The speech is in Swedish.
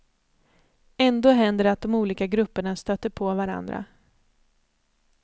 Ändå händer det att de olika grupperna stöter på varandra.